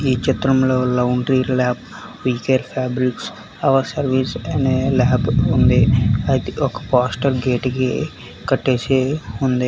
ఈ చిత్రంలో laundry lab feature fabrics our service అనే ల్యాబ్ ఉంది అది ఒక పోస్టర్ గేటుకి కట్టేసి ఉంది.